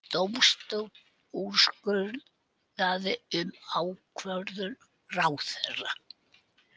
Dómstóll úrskurði um ákvörðun ráðherra